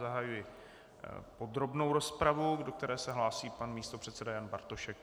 Zahajuji podrobnou rozpravu, do které se hlásí pan místopředseda Jan Bartošek.